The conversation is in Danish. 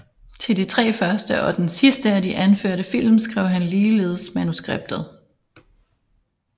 Til de tre første og den sidste af de anførte film skrev han ligeledes manuskriptet